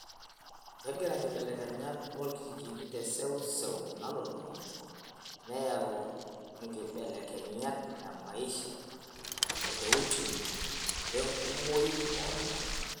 Kegira nkibelekenyat orkijijini tesewsew nalulung'a neyua enkibelekenyat emaisha, oteuchumi, wenkumoi oltunganak.